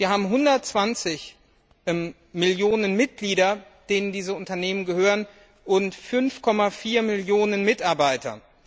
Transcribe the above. Sie haben 120 Millionen Mitglieder, denen diese Unternehmen gehören, und 5,4 Millionen Mitarbeiter.